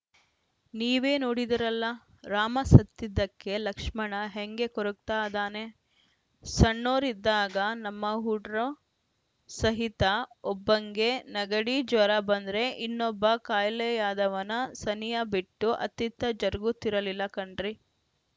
ನೀವೇ ನೋಡಿದಿರಲ್ಲ ರಾಮ ಸತ್ತಿದ್ದಕ್ಕೆ ಲಕ್ಷ್ಮಣ ಹೆಂಗೆ ಕೊರಗತಾ ಅದಾನೆ ಸಣ್ಣೊರಿದ್ದಾಗ ನಮ್ಮ ಹುಡ್ರು ಸಯಿತ ಒಬ್ಬಂಗೆ ನೆಗಡಿ ಜ್ವರ ಬಂದರೆ ಇನ್ನೊಬ್ಬ ಖಾಯಿಲೆಯಾದವನ ಸನಿಯ ಬಿಟ್ಟು ಅತ್ತಿತ್ತ ಜರುಗುತ್ತಿರಲಿಲ್ಲ ಕಣ್ರಿ